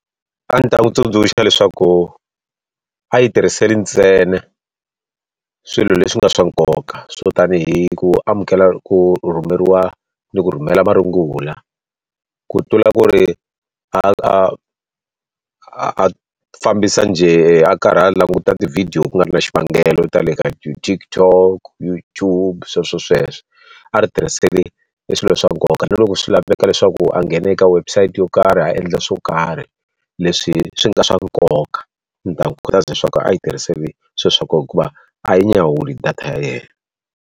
A ndzi ta n'wi tsundzuxa leswaku a yi tirhisile ntsena swilo leswi nga swa nkoka swo tanihi ku amukela ku rhumeriwa ni ku rhumela marungula. Ku tlula ku ri a a fambisa njhe a karhi a languta ti-video ku nga ri na xivangelo, ta le ka TikTok YouTube sweswo sweswo. A ri tirhisile e swilo swa nkoka, na loko swi laveka leswaku a nghene ka website yo karhi a endla swo karhi leswi swi nga swa nkoka. Ndzi ta n'wi khutaza leswaku a yi tirhisile swilo swa kona hikuva a yi nyawuli data ya yena.